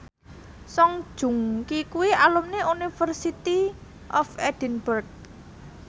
Song Joong Ki kuwi alumni University of Edinburgh